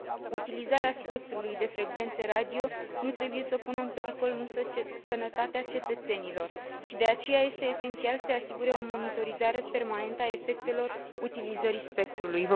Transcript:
Utilizarea spectrului de frecvențe radio nu trebuie să pună în pericol, însă, sănătatea cetățenilor și de aceea este esențial să se asigure o monitorizare permanentă a efectelor utilizării spectrului.